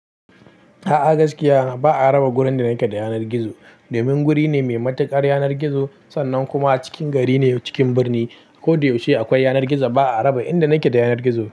A'a gaskiya ba'a raba wurin da yake da yanar gizo. Domin wuri ne mai matuƙar yanar gizo sannan kuma a cikin gari ne cikin birni. Ko da yaushe akwai yanar gizon. Ba'a raba inda yake da yanar gizo.